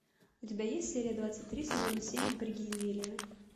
у тебя есть серия двадцать три сезона семь напряги извилины